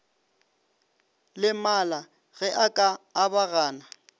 lemala ge a ka abagana